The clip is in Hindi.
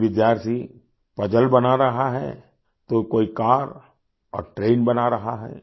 कोई विद्यार्थी पजल बना रहा है तो कोई कार और ट्रेन बना रहा है